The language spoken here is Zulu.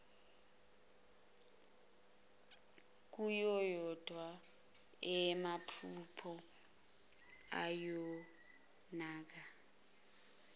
kungeyona eyamaphupho ibonakala